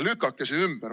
Lükake see ümber.